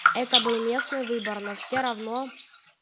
это был местные выборы но все равно